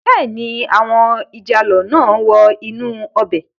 Bẹ́ẹ̀ni, àwọn ìjàlọ náà wọ inú ọbẹ̀ náà